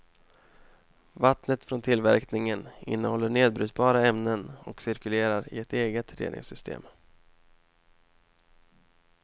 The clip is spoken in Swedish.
Vattnet från tillverkningen innehåller nedbrytbara ämnen och cirkulerar i ett eget reningssystem.